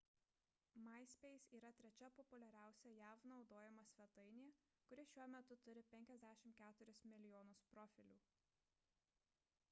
myspace yra trečia populiariausia jav naudojama svetainė kuri šiuo metu turi 54 milijonus profilių